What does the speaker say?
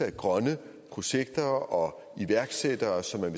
af grønne projekter og iværksættere som man